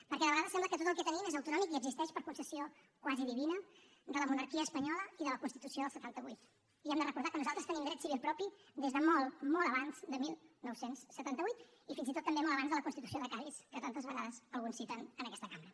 perquè de vegades sembla que tot el que tenim és autonòmic i existeix per concessió quasi divina de la monarquia espanyola i de la constitució del setanta vuit i hem de recordar que nosaltres tenim dret civil propi des de molt molt abans de dinou setanta vuit i fins i tot també molt abans de la constitució de cadis que tantes vegades alguns citen en aquesta cambra